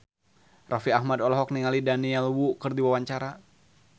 Raffi Ahmad olohok ningali Daniel Wu keur diwawancara